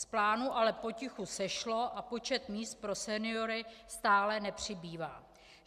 Z plánu ale potichu sešlo a počet míst pro seniory stále nepřibývá.